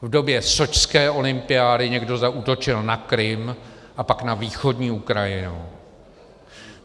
V době sočské olympiády někdo zaútočil na Krym a pak na východní Ukrajinu.